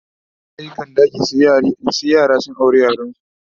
A da iyaye kan nace sai yaransu su aure Ƴan yaransu